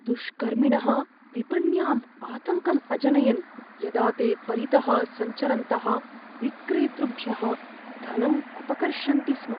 दुष्कर्मिणः विपण्याम् आतङ्कं अजनयन् यदा ते परितः सञ्चरन्तः विक्रेतृभ्यः धनं अपकर्षन्ति स्म।